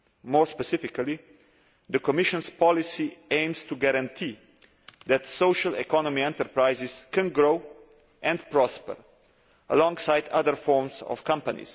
More specifically, the Commission's policy aims to guarantee that social economy enterprises can grow and prosper alongside other forms of company.